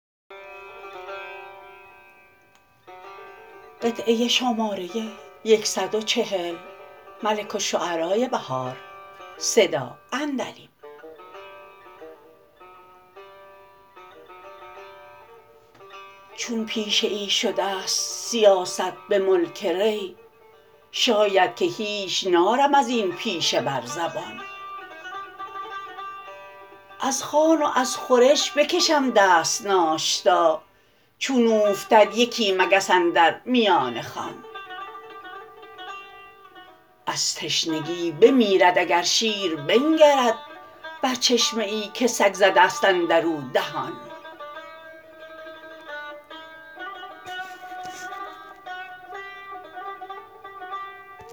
چون پیشه ای شدست سیاست به ملک ری شایدکه هیچ نارم ازین پیشه بر زبان از خوان و از خورش بکشم دست ناشتا چون اوفتد یکی مگس اندر میان خوان از تشنگی بمیرد اگر شیر بنگرد بر چشمه ای که سگ زده است اندرو دهان